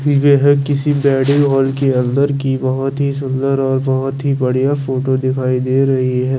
केसी भी गाड़ी और के अंदर की बहोत ही सुंदर और बहोत ही बढ़िया फोटो दिखाई दे रहि हे।